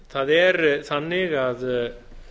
það er þannig að